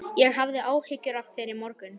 Ég hafði áhyggjur af þér í morgun.